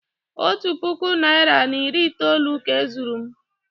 otu puku naira na iri itoolu ka e zuru m